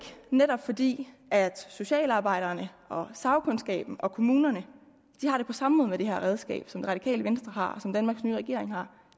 netop fordi socialarbejderne sagkundskaben og kommunerne har det på samme måde med det her redskab som det radikale venstre har og som danmarks nye regering har